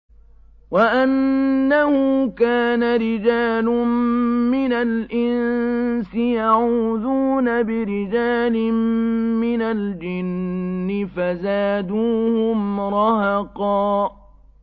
وَأَنَّهُ كَانَ رِجَالٌ مِّنَ الْإِنسِ يَعُوذُونَ بِرِجَالٍ مِّنَ الْجِنِّ فَزَادُوهُمْ رَهَقًا